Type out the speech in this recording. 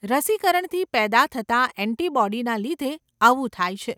રસિકરણથી પેદા થતા ઍન્ટિબોડીના લીધે આવું થાય છે.